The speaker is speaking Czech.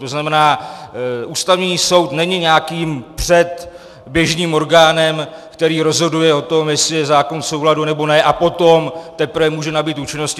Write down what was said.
To znamená, Ústavní soud není nějakým předběžným orgánem, který rozhoduje o tom, jestli je zákon v souladu, nebo ne, a potom teprve může nabýt účinnosti.